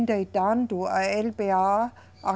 e tanto a eLeBêA